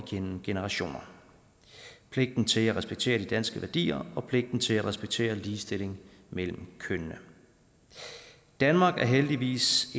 igennem generationer pligten til at respektere de danske værdier og pligten til at respektere ligestilling mellem kønnene danmark er heldigvis